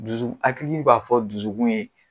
Dusu akili b'a fɔ dusukun ye